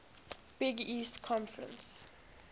big east conference